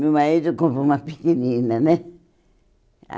Meu marido comprou uma pequenina, né?